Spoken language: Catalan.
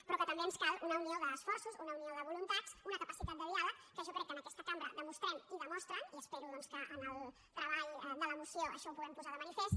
però que també ens cal una unió d’esforços una unió de voluntats una capacitat de diàleg que jo crec que en aquesta cambra demostrem i demostren i espero doncs que en el treball de la moció això ho puguem posar de manifest